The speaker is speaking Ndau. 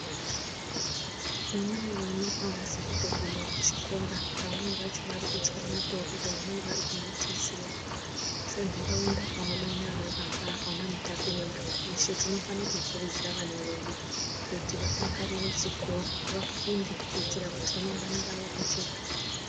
Vamweni vana avasi kutoguma kuchikora, vamweni vacho varikuchaya mutoriro, vamweni vakumitisiwa. Senharaunda ana mai nana baba, anamutape ese madhodha, tinofana kukurudzira vana vedu kuti vadakarire chikora vafunde kuitira kuti ramangwana ravo rijeke.